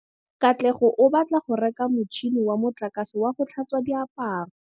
Katlego o batla go reka motšhine wa motlakase wa go tlhatswa diaparo.